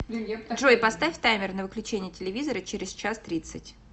джой поставь таймер на выключение телевизора через час тридцать